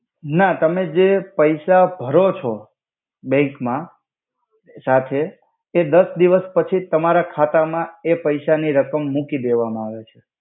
ના તમે જે પૈસા ભરો છો બેંક મા સાથે તે દસ દિવસ પછી તમારા ખાતા મા એ પૈસા નિ રકમ મુકિ દેવામા આવે.